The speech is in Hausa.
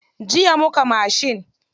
Jiya muka mashin.